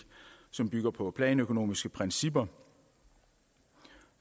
som bygger på planøkonomiske principper